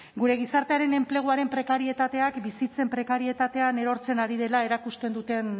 gure gizartearen enpleguaren prekarietateak bizitzen prekarietatean erortzen ari dela erakusten duten